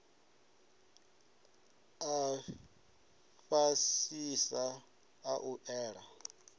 a fhasisa a u ela